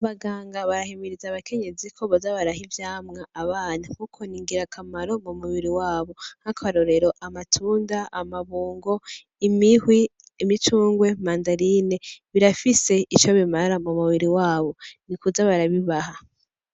Abaganga barahimiriza abakenyezi ko boza baraha abana ivyamwa abana kuko ni ngirakamaro mumubiri wabo , nkakarorero :amatunda , amabungo , imihwi , imicungwe, mandarine birafise ico bimara mumubiri wabo , nikuza barabibaha .